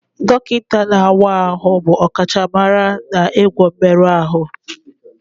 Dọkịta na-awa ahụ bụ ọkachamara n'ịgwọ mmerụ ahụ